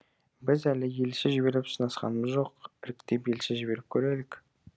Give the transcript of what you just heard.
біз әлі елші жіберіп сынасқанымыз жоқ іріктеп елші жіберіп көрелік